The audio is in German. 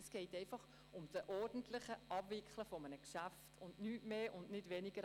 Es geht um die ordentliche Abwicklung eines Geschäfts, um nicht mehr und nicht weniger.